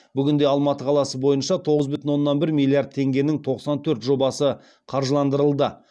бүгінде алматы қаласы бойынша тоғыз бүтін оннан бір миллиард теңгенің тоқсан төрт жобасы қаржыландырылды